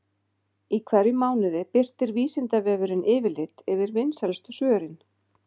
Í hverjum mánuði birtir Vísindavefurinn yfirlit yfir vinsælustu svörin.